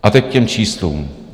A teď k těm číslům.